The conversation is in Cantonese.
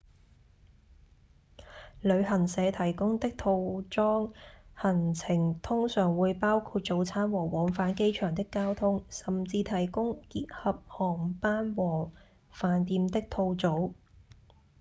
旅行社提供的套裝行程通常會包括早餐和往返機場的交通甚至提供結合航班和飯店的套組